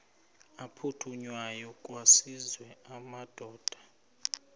aphuthunywayo kwaziswe amadoda